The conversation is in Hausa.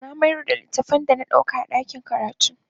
Na mayar da littafin da na ɗauka a ɗakin karatu.